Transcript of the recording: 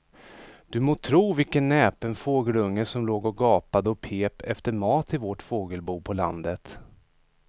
Du må tro vilken näpen fågelunge som låg och gapade och pep efter mat i vårt fågelbo på landet.